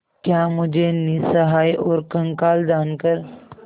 क्या मुझे निस्सहाय और कंगाल जानकर